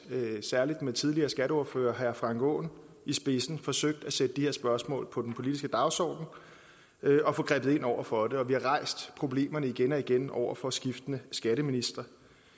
særlig med den tidligere skatteordfører herre frank aaen i spidsen forsøgt at sætte de her spørgsmål på den politiske dagsorden og få grebet ind over for det og vi har rejst problemerne igen og igen over for skiftende skatteministre i